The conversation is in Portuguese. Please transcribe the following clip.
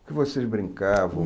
O que vocês brincavam?